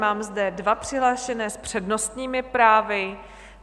Mám zde dva přihlášené s přednostními právy.